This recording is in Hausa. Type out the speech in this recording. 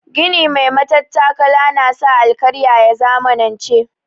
Gini mai matattakala na sa alkarya ya zamanance.